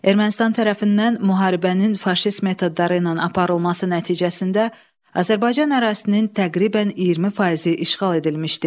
Ermənistan tərəfindən müharibənin faşist metodları ilə aparılması nəticəsində Azərbaycan ərazisinin təqribən 20 faizi işğal edilmişdi.